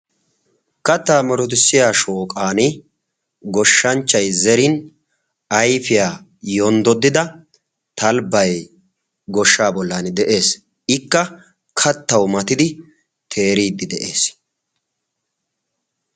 Kattaa murutissiya shooqan goshshanchchay zerin ayfiyaa yonddodida talibay goshshaa bollan de'ees. ikka kattau matidi teriidi de'ees.